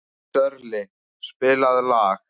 Sörli, spilaðu lag.